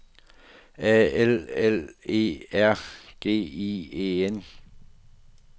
A L L E R G I E N